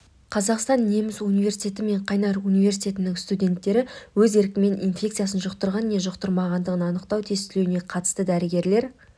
қазақстан-неміс университеті мен қайнар университетінің студенттері өз еркімен инфекциясын жұқтырған не жұқтырмағандығын анықтау тестілеуіне қатысты дәрігерлер